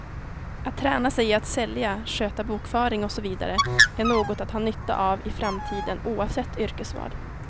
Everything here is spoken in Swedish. Att träna sig i att sälja, sköta bokföring osv, är något att ha nytta av i framtiden oavsett yrkesval.